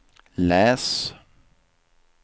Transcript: läs